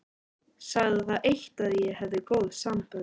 Sagði það eitt að ég hefði góð sambönd.